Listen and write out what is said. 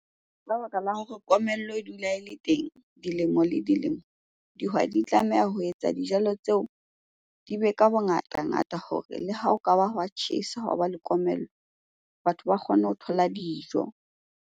Ka baka la hore komello e dula e le teng dilemo le dilemo. Dihwai di tlameha ho etsa dijalo tseo di be ka bongatangata hore le ha o ka ba hwa tjhesa, hwa ba le komello. Batho ba kgone ho thola dijo.